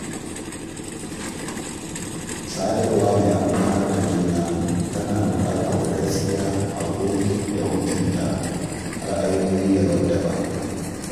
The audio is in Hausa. Sadarwa mai amfanar juna tana buƙatar gaskiya, haƙuri, da mutunta ra’ayoyi daban-daban.